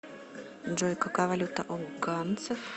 джой какая валюта у ганцев